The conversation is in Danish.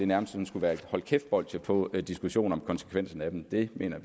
nærmest skulle være et hold kæft bolsje på diskussionen om konsekvenserne af dem det mener